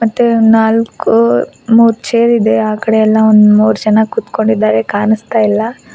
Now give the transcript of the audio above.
ಮತ್ತೆ ನಾಲ್ಕು ಮೂರ್ ಚೇರ್ ಇದೆ ಆಕಡೆ ಎಲ್ಲಾ ಒಂದ ಮೂರ ಜನ ಕೂತ್ಕೊಂಡಿದ್ದಾರೆ ಕಾಣಿಸ್ತಾ ಇಲ್ಲ.